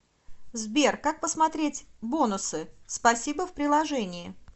сбер как посмотреть бонусы спасибо в приложении